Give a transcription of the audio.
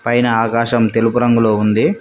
పైన ఆకాశం తెలుపు రంగులో ఉంది.